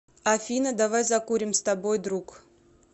афина давай закурим с тобой друг